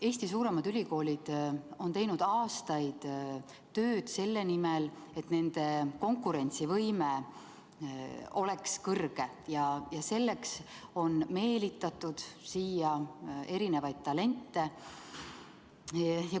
Eesti suuremad ülikoolid on teinud aastaid tööd selle nimel, et nende konkurentsivõime oleks kõrge, ja selleks on meelitatud siia talente.